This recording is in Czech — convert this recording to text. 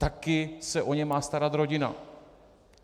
Taky se o ně má starat rodina.